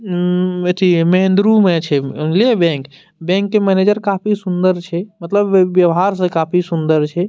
उम्म एथी महेंद्रू में छै बैंक के मैनेजर काफी सुंदर छै मतलब व्य व्यवहार से काफी सुंदर छै।